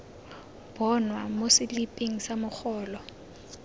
bonwa mo seliping sa mogolo